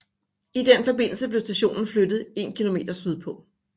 I den forbindelse blev stationen flyttet en kilometer sydpå